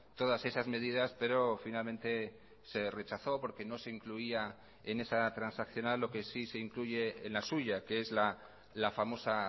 todas esas medidas pero finalmente se rechazó porque no se incluía en esa transaccional lo que sí se incluye en la suya que es la famosa